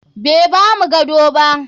Bai bamu gado ba.